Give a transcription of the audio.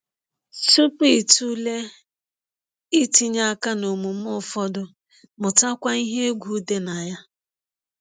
Tupu ị tụlee itinye aka n’omume ụfọdụ, mụtakwa ihe egwu dị na ya.